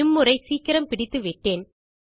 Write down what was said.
இம் முறை சீக்கிரம் பிடித்து விட்டேன்